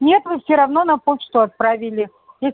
нет вы все равно на почту отправили и